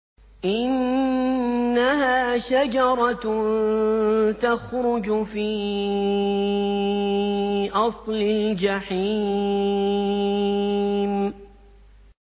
إِنَّهَا شَجَرَةٌ تَخْرُجُ فِي أَصْلِ الْجَحِيمِ